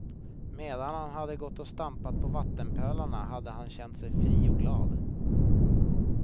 Medan han hade gått och stampat på vattenpölarna hade han känt sig fri och glad.